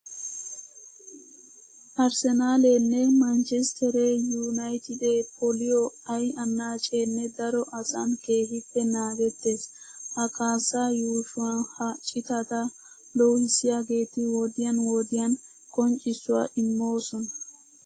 Arssenaaleenne manchchestter yuunaytidee poliyo ay annaaceenne daro asan keehippe naagettees. Ha kaassaa yuushuwa ha citata loohissiyageeti wodiyan wodiyan qonccissuwa immoosona.